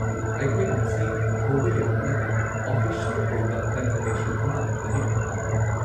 ꯑꯩꯈꯣꯏꯅ ꯃꯁꯤ ꯍꯧꯕ ꯌꯥꯅꯅꯕ ꯑꯣꯐꯤꯁꯤꯑꯦꯜ ꯑꯣꯏꯕ ꯀꯟꯐꯔꯃꯦꯁꯟ ꯑꯃ ꯊꯥꯕꯤꯔꯛꯄ ꯄꯥꯝꯃꯤ꯫